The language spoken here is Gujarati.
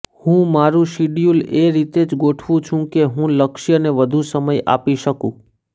હું મારું શિડયૂલ એ રીતે જ ગોઠવું છું કે હું લક્ષ્યને વધુ સમય આપી શકું